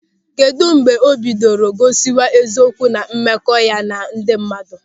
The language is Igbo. Kedụ mgbe o bidoro gosiwa eziokwu na mmekọ ya na ndị mmadụ?